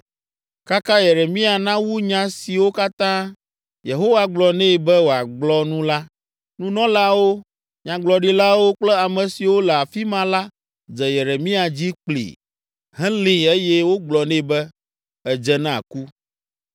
Kaka Yeremia nawu nya siwo katã Yehowa gblɔ nɛ be wòagblɔ nu la, nunɔlawo, nyagblɔɖilawo kple ame siwo le afi ma la dze Yeremia dzi kpli, helée eye wogblɔ nɛ be, “Èdze na ku!